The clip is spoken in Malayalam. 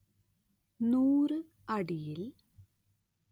൱ അടിയിൽ